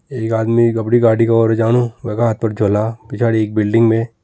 एक आदमी अपड़ी गाड़ी की ओर जानु वैका हाथ पर झोला पिछाड़ी एक बिल्डिंग में --